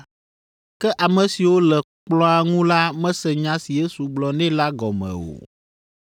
Ke ame siwo le kplɔ̃a ŋu la mese nya si Yesu gblɔ nɛ la gɔme o.